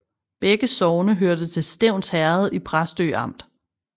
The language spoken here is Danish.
Begge sogne hørte til Stevns Herred i Præstø Amt